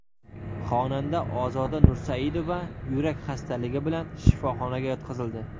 Xonanda Ozoda Nursaidova yurak xastaligi bilan shifoxonaga yotqizildi.